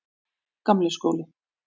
Gamli skóli